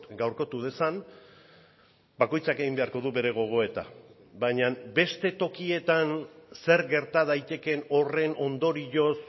gaurkotu dezan bakoitzak egin beharko du bere gogoeta baina beste tokietan zer gerta daitekeen horren ondorioz